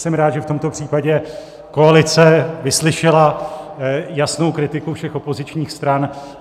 Jsem rád, že v tomto případě koalice vyslyšela jasnou kritiku všech opozičních stran.